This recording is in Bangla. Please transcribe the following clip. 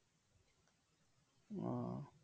ও